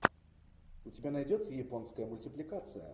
у тебя найдется японская мультипликация